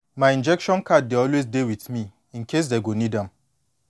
my injection card dey always dey with me incase dey go need am